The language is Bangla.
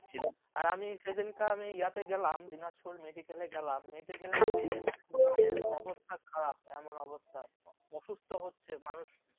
আর আমি সেদিন কে আমি ইয়াতে গেলাম দিনাজপুর medical এ গেলাম medical এ গিয়ে মানে মানে অবস্থা খারাপ এমন অবস্থা, অসুস্থ হচ্ছে মানুষ